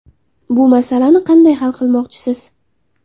Bu masalani qanday hal qilmoqchisiz?